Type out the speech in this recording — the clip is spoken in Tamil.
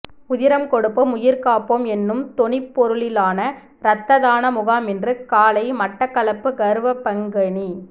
உதிரம் கொடுப்போம் உயிர் காப்போம் என்னும் தொனிப்பொருளிலான இரத்ததான முகாம் இன்று காலை மட்டக்களப்பு கறுவப்பங்கேணி